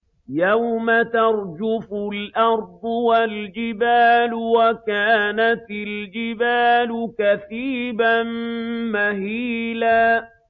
يَوْمَ تَرْجُفُ الْأَرْضُ وَالْجِبَالُ وَكَانَتِ الْجِبَالُ كَثِيبًا مَّهِيلًا